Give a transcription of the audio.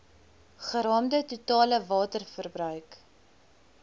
geraamde totale waterverbruik